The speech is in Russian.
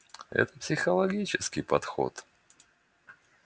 это психологический подход